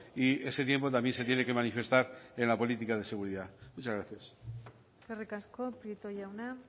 y ese tiempo también se tiene que manifestar en la política de seguridad muchas gracias eskerrik asko prieto jauna